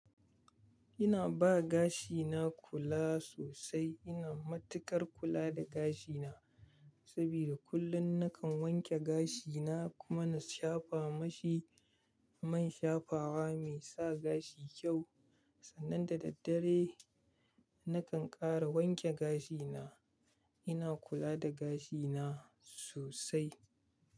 Ina ba gashina kula sosai. Ina matuƙar kula da gashina saboda kullum nakan wanke gashina kuma na shafa mashi man shafawa mai sa gashi kyau. Sannan da daddare nakan ƙara wanke gashina. Ina kula da gashina sosai.